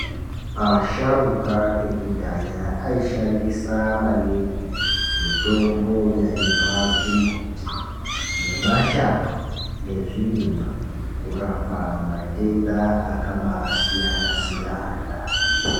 Asharuka ekudhaya aishandisa maningi mitombo yaibva kumbuti nemashango nezvirimwa kurapa matenda akabasiyana-siyana.